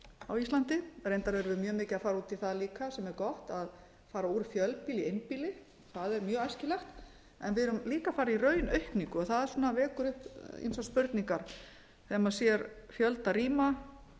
á íslandi reyndar erum við mjög mikið að fara út í það líka sem er gott að fara úr fjölbýli í einbýli það er mjög æskilegt en við erum líka að fara í raunaukningu það svona vekur upp ýmsar spurningar þegar maður sér fjölda rýma